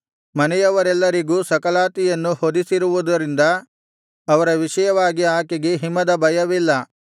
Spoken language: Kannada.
ಮನೆಯವರೆಲ್ಲರಿಗೂ ಸಕಲಾತಿಯನ್ನು ಹೊದಿಸಿರುವುದರಿಂದ ಅವರ ವಿಷಯವಾಗಿ ಆಕೆಗೆ ಹಿಮದ ಭಯವಿಲ್ಲ